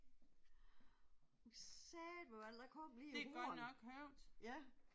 Satan man, der kom lige et horn ja